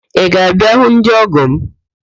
Ị ga-abịa ịhụ ndị ọ́gọ̀ m?